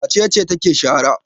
Wace ce take shara?